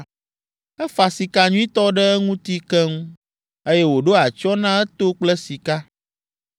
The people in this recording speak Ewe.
Efa sika nyuitɔ ɖe eŋuti keŋ, eye wòɖo atsyɔ̃ na eto kple sika.